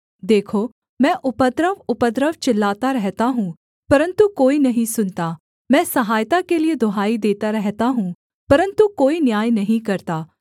देखो मैं उपद्रव उपद्रव चिल्लाता रहता हूँ परन्तु कोई नहीं सुनता मैं सहायता के लिये दुहाई देता रहता हूँ परन्तु कोई न्याय नहीं करता